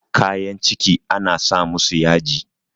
kayan ciki ana sa musu yaji